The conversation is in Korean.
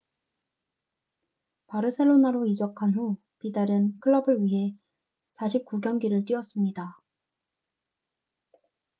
바르셀로나로 이적한 후 비달은 클럽을 위해 49경기를 뛰었습니다